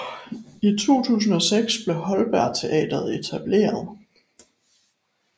I 2006 blev Holberg Teatret etableret